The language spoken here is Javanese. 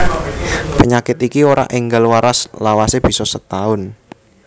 Penyakit iki ora enggal waras lawase bisa setaun